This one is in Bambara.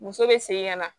Muso bɛ segin ka na